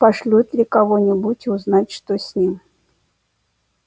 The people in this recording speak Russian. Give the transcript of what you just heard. пошлют ли кого-нибудь узнать что с ним